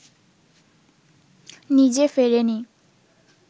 নিজে ফেরেনি